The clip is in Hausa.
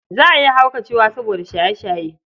Za a iya haukacewa soboda shaye-shaye.